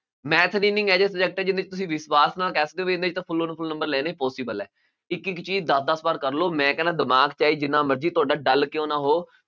Math ਇਹ ਜਿਹਾ subject ਹੈ ਵਿਸਵਾਸ ਨਾਲ ਕਹਿ ਸਕਦੇ ਹੋ ਵੀ ਇਹਦੇ full full ਲੈਣੇ possible ਹੈ, ਇੱਕ ਇੱਕ ਚੀਜ਼ ਦਸ ਦਸ ਵਾਰ ਕਰ ਲਓ, ਮੈਂ ਕਹਿਨਾ ਦਿਮਾਗ ਚਾਹੇ ਜਿੰਨਾ ਮਰਜ਼ੀ ਤੁਹਾਡਾ dull ਕਿਉਂ ਨਾ ਹੋ